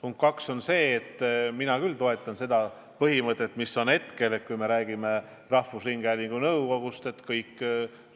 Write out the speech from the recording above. Punkt 2 on see, et ma toetan praegust põhimõtet, et rahvusringhäälingu nõukogusse kõik